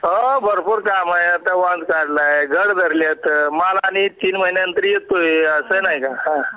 हो भरपूर काम आहेत आता वाल काढलाय घड़ भरलीयेतमाल आणि तीन महिन्यांनंतर येतोय सण आहे हा